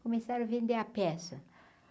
Começaram a vender a peça.